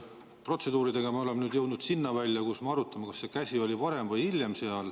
Protseduuridega me oleme nüüd jõudnud sinna välja, kus me arutame, kas see käsi oli seal varem või hiljem.